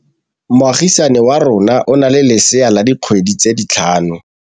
Moagisane wa rona o na le lesea la dikgwedi tse tlhano.